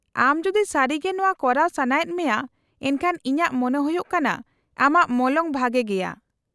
-ᱟᱢ ᱡᱩᱫᱤ ᱥᱟᱹᱨᱤᱜᱮ ᱱᱚᱶᱟ ᱠᱚᱨᱟᱣ ᱥᱟᱱᱟᱭᱮᱫ ᱢᱮᱭᱟ, ᱮᱱᱠᱷᱟᱱ ᱤᱧᱟᱹᱜ ᱢᱚᱱᱮ ᱦᱩᱭᱩᱜ ᱠᱟᱱᱟ ᱟᱢᱟᱜ ᱢᱚᱞᱚᱝ ᱵᱷᱟᱜᱮ ᱜᱮᱭᱟ ᱾